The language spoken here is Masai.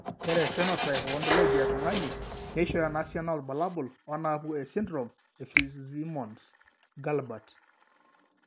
Ore ephenotype ontology etung'ani neishooyo enasiana oorbulabul onaapuku esindirom eFitzsimmons Guilbert.